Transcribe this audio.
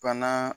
Bana